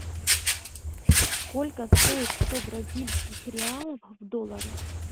сколько стоит сто бразильских реалов в долларах